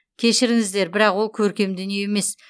кешіріңіздер бірақ ол көркем дүние емес